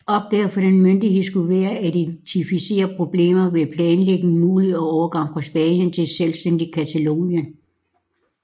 Opgaven for denne myndighed skulle være at identificere problemer ved en planlagt mulig overgang fra Spanien til et selvstændigt Catalonien